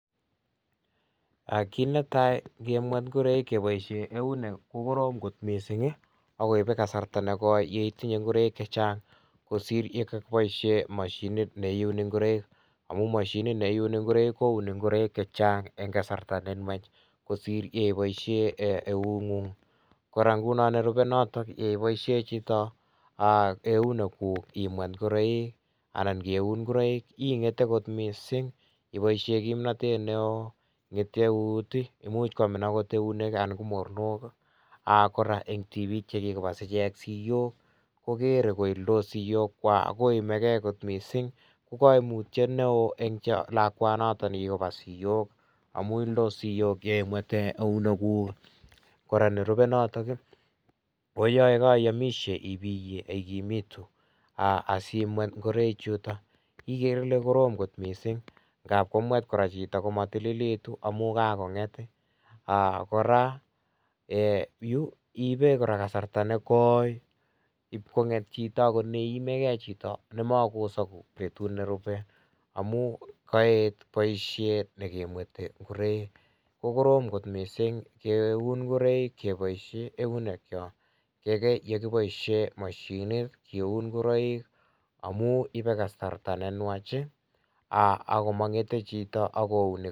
Kit ne tai ingemweet ingoraik kebaisheen neunek ko korom koot missing ii agoibe kasarta negoi ye itinyei ngoraik che chaang ibaisheen mashiniit ne iunee ngoraik amuun mashiniit neunek ingoraik kounee ingoraik chechaang en kasarta ne nwaach kosiir kebaisheen eut nguung kora ngunon nerupei notoon nebaisheen chitoo aah euneguug imweet ngoraik anan kiun ingoraik ingethe koot missing iboisien kimnatet neo oo imuuch kwamiin akoot eut ii anan ko mornook aah koraa en tibiik chebass icheeng siyook komwet koimee gei missing ko kaimutiet ne wooh en lakwan notoon kibas siyoog kobas siyoog amuun ildos sitook ingemwethen Omo kora nerubee noton koyae kaimishe ibiye igumituu asimweet Ingoraik chutoo igere Ile korom Missing ngaap komwet chitoo komatililegituun igere Ile koromitu ,aah kora eeh yu iibei kasarta negoi IP konget iimei gei chitoo nemakoseguu akoot en betuut ne rupee amuun kaet boisiet nekemwethe ingoraik ko korom koot missing keun ingoraik kebaisheen neunek kyaak kaikai ingebaisheen mashiniit ingeuun ingoraik amuun ibe kasarta ne nwaach ii aah ago mangethe chitoo ako uuni.